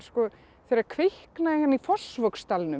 þegar kviknaði í Fossvogsdalnum